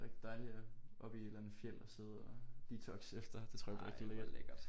Det bliver rigtig dejligt at oppe i et eller andet fjeld og sidde og detoxe efter det tror jeg bliver rigtig lækkert